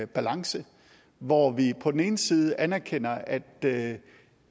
balance hvor vi på den ene side anerkender at det